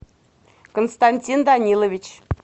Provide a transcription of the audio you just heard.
константин данилович